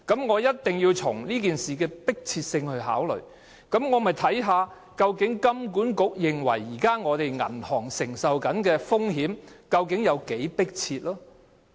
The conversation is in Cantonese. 為了考慮這件事情的迫切性，我一定要看看金管局認為現時本港銀行承受的風險有多迫切。